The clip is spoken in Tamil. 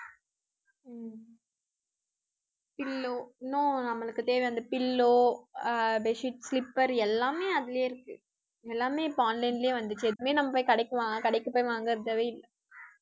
pillow இன்னும் நம்மளுக்கு தேவை அந்த pillow அஹ் bed sheet, slipper எல்லாமே அதிலேயே இருக்கு எல்லாமே இப்ப online லயே வந்துச்சு எப்பவுமே நம்ம போய் கடைக்கு வாங்க கடைக்கு போய் வாங்குறதே இல்லை